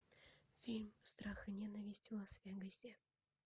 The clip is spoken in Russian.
фильм страх и ненависть в лас вегасе